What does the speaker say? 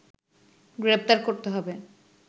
গ্রেপ্তার করতে হবে